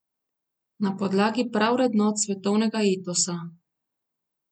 Na podlagi pravrednot svetovnega etosa.